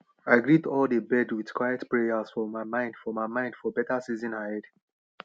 i greet all dey birds with quiet prayers for my mind for my mind for beta season ahead